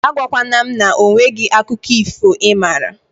A gwa kwana m na onweghi akụkọ ifo ị mara